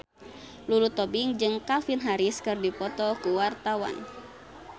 Lulu Tobing jeung Calvin Harris keur dipoto ku wartawan